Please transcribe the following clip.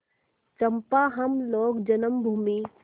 चंपा हम लोग जन्मभूमि